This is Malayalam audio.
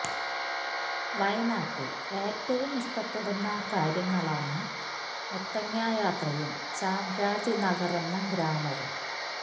വയനാട്ടില് ഏറ്റവും ഇഷ്ടപ്പെടുന്ന കാര്യങ്ങളാണ് മുത്തങ്ങ യാത്രയും ചാംരാജ് നഗറെന്ന ഗ്രാമവും